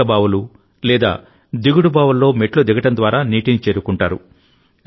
మెట్ల బావులు లేదా దిగుడు బావుల్లో మెట్లు దిగడం ద్వారా నీటిని చేరుకుంటారు